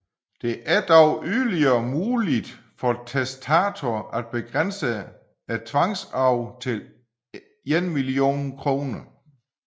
Det er dog yderligere muligt for testator at begrænse tvangsarven til en million kr